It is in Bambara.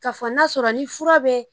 K'a fɔ n'a sɔrɔ ni fura bɛɛ